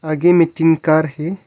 आगे मे तीन कार है।